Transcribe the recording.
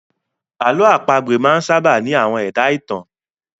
Àlọ́ àpagbè máa sábà ní àwọn ẹ̀dá-ìtàn